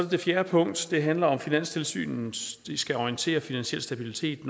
det fjerde punkt som handler om at finanstilsynet skal orientere finansiel stabilitet